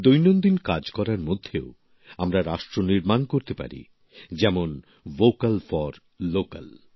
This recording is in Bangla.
দৈনন্দিন কাজ করার মধ্যেও আমরা রাষ্ট্র নির্মাণ করতে পারি যেমন ভোকাল ফর লোকাল